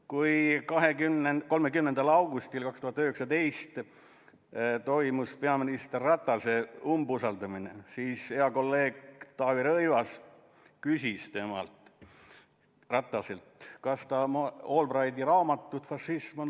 Kui 30. augustil 2019 toimus peaminister Ratase umbusaldamine, siis hea kolleeg Taavi Rõivas küsis temalt, kas ta on lugenud Albrighti raamatut "Fašism.